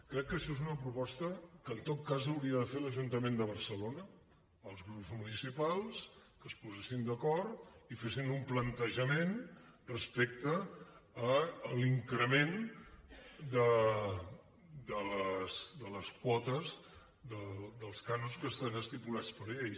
crec que això és una proposta que en tot cas l’hauria de fer l’ajuntament de barcelona els grups municipals que es posessin d’acord i fessin un plantejament respecte a l’increment de les quotes dels cànons que estan estipulats per llei